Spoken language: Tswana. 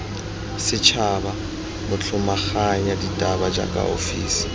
setšhaba motlhomaganya ditaba jaaka ofisi